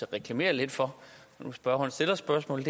at reklamere lidt for når nu spørgeren stiller spørgsmålet